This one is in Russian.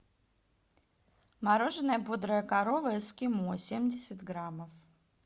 мороженое бодрая корова эскимо семьдесят граммов